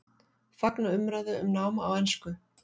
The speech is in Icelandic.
Fagna umræðu um nám á ensku